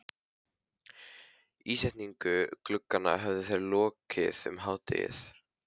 Ísetningu glugganna höfðu þeir lokið um hádegið.